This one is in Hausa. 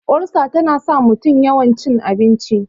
ulsa tana sa mutum yawan cin abinci